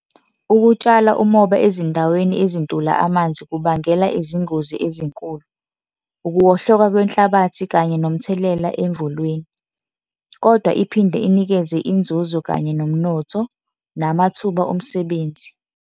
Ukutshala umoba ezindaweni ezintula amanzi kubangela izingozi ezinkulu. Ukuwohloka lwenhlabathi kanye nomthelela emvulweni, kodwa iphinde inikeze inzuzo kanye nomnotho namathuba omsebenzi.